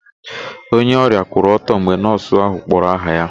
Onye ọrịa kwụrụ ọtọ mgbe nọọsụ ahụ kpọrọ aha ya.